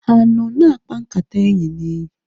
Ha anọ na-akpa nkata enyi na enyi?